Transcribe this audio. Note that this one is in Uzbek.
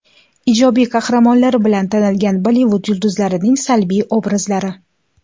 Ijobiy qahramonlari bilan tanilgan Bollivud yulduzlarining salbiy obrazlari .